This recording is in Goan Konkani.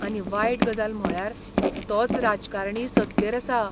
आनी वायट गजाल म्हळ्यार तोच राजकारणी सत्तेर आसा.